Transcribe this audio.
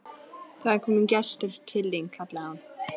Það er kominn gestur til þín, kallaði hún.